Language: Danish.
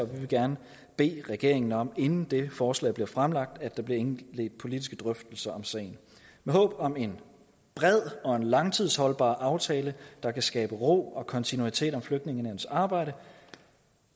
vi vil gerne bede regeringen om inden det forslag bliver fremlagt at der bliver indledt politiske drøftelser om sagen med håb om en bred og en langtidsholdbar aftale der kan skabe ro og kontinuitet om flygtningenævnets arbejde